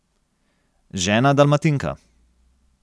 Žena Dalmatinka.